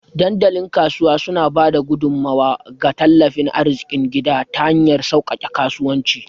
Dandalin Kasuwa suna ba da gudummawa ga tattalin arzikin gida ta hanyar sauƙaƙe kasuwanci